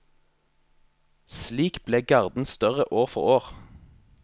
Slik ble garden større år for år.